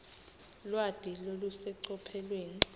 lwati lolusecophelweni